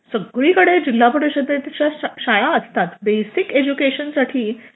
सगळीकडे जिल्हा परिषदेच्या शाळा असतात बेसिक एज्युकेशन साठी